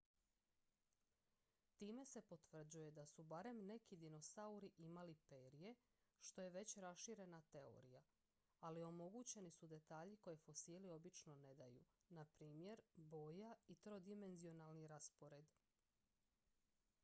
time se potvrđuje da su barem neki dinosauri imali perje što je već raširena teorija ali omogućeni su detalji koje fosili obično ne daju npr boja i trodimenzionalni raspored